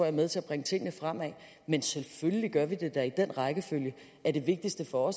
er med til at bringe tingene fremad men selvfølgelig gør vi det da i den rækkefølge at det vigtigste for